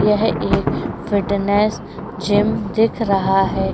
यह एक fitness gym दिख रहा है।